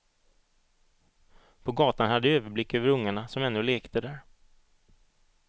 På gatan hade jag överblick över ungarna som ännu lekte där.